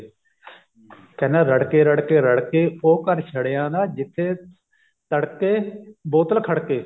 ਕਹਿੰਦਾ ਰੜਕੇ ਰੜਕੇ ਰੜਕੇ ਉਹ ਘਰ ਛੜਿਆਂ ਦਾ ਜਿੱਥੇ ਤੜਕੇ ਬੋਤਲ ਖੜਕੇ